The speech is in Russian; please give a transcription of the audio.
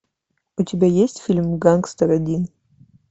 у тебя есть фильм гангстер один